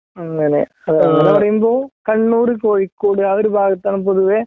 അങ്ങനെ അങ്ങനെ പറയുമ്പോ കണ്ണൂര്, കോഴിക്കോട് ആ ഒരു ഭാഗത്താണ് പൊതുവേ